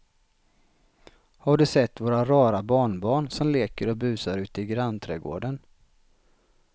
Har du sett våra rara barnbarn som leker och busar ute i grannträdgården!